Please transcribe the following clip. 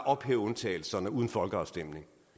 ophæve undtagelserne uden folkeafstemning